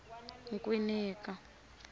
nkwinika